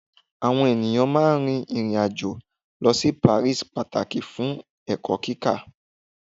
awọn eniyan máà ń rin irin ajo lọ si Paris pataki fun ẹkọ kíkọ.